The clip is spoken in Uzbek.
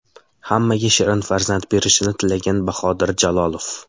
Hammaga shirin farzand berishini tilagan Bahodir Jalolov.